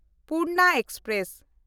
Purna express